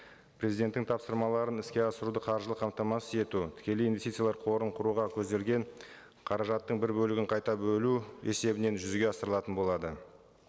президенттің тапсырмаларын іске асыруды қаржылы қамтамасыз ету тікелей инвестициялар қорын құруға көзделген қаражаттың бір бөлігін қайта бөлу есебінен жүзеге асырылатын болады